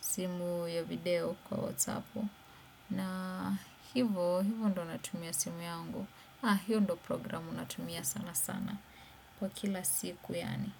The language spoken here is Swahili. simu ya video kwa WhatsApu. Na hivo hivo ndo natumia simu yangu. Ah, hiyo ndo programu natumia sana sana. Kwa kila siku yaani.